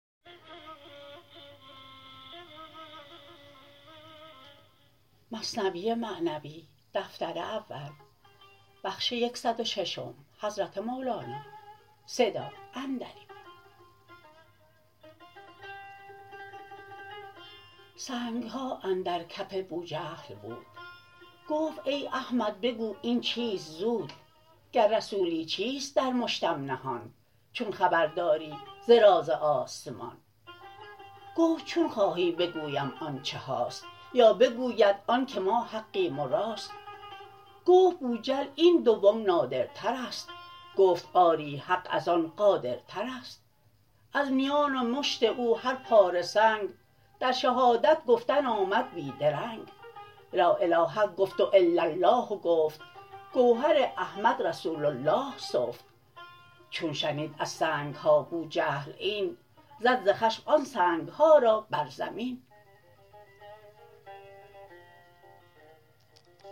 سنگها اندر کف بوجهل بود گفت ای احمد بگو این چیست زود گر رسولی چیست در مشتم نهان چون خبر داری ز راز آسمان گفت چون خواهی بگویم آن چه هاست یا بگویند آن که ما حقیم و راست گفت بوجهل این دوم نادرترست گفت آری حق از آن قادرترست از میان مشت او هر پاره سنگ در شهادت گفتن آمد بی درنگ لا اله گفت و الا الله گفت گوهر احمد رسول الله سفت چون شنید از سنگها بوجهل این زد ز خشم آن سنگها را بر زمین